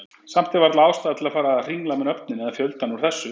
Samt er varla ástæða til að fara að hringla með nöfnin eða fjöldann úr þessu.